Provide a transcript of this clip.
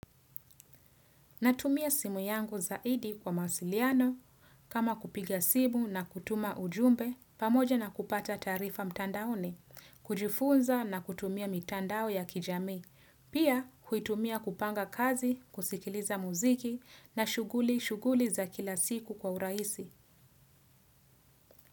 Natumia simu yangu zaidi kwa mawasiliano kama kupiga simu na kutuma ujumbe pamoja na kupata taarifa mtandaoni, kujifunza na kutumia mitandao ya kijami, pia huitumia kupanga kazi, kusikiliza muziki na shughuli shughuli za kila siku kwa urahisi.